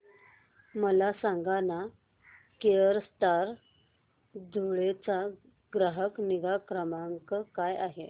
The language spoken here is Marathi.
मला सांगाना केनस्टार धुळे चा ग्राहक निगा क्रमांक काय आहे